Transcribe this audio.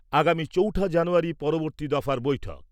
আগামী চৌঠা জানুয়ারী পরবর্তী দফার বৈঠক।